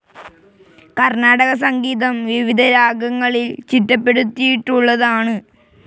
കർണാടക സംഗീതം, വിവിധ രാഗങ്ങളിൽ ചിട്ടപ്പെടുത്തിയിട്ടുള്ളതാണ്.